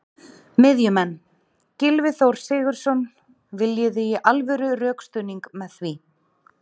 Miðjumenn: Gylfi Þór Sigurðsson- Viljiði í alvöru rökstuðning með því?